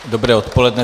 Dobré odpoledne.